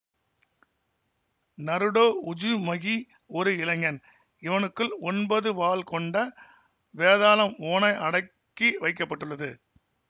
Naruto Uzumaki ஒரு இளைஞன் இவனுக்குள் ஒன்பது வால் கொண்ட வேதாளம் ஓநாய் அடக்கி வைக்க பட்டுள்ளது